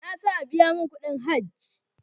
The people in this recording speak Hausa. Na sa a biya mun kudin hajj